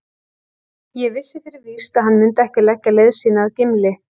Ég vissi fyrir víst að hann mundi ekki leggja leið sína að Gimli.